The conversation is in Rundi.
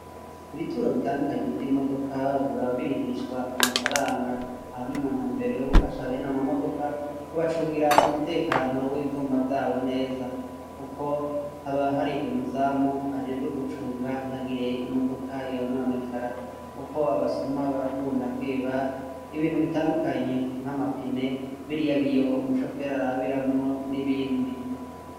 Ibituro bitandukanye vy'imodoka, biba birihishwa amafaranga, aho nimuntumbero yo gufasha bene ama modoka kubacungira umutekano w'ivyuma vyabo neza kuko haba hari umuzamu ajejwe gucunga ntihagire imodoka yononekara, kuko abasuma barakunda kwiba ibintu bitandukanye, nk'amapine biriya biyo umushoferi arabiramwo n'ibindi.